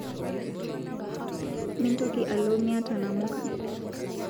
Mintoki alo miata namuka